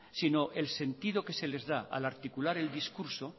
sino el sentido que se les da al articular el discurso